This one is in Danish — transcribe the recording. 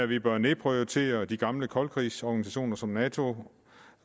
vi bør nedprioritere de gamle koldkrigsorganisationer som nato